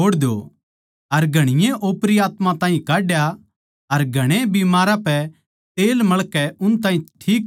अर घणीए ओपरी आत्मा ताहीं काड्या अर घणे बीमारां पै तेल मळ कै उन ताहीं ठीक करया